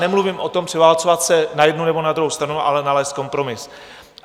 Nemluvím o tom převálcovat se na jednu nebo na druhou stranu, ale nalézt kompromis.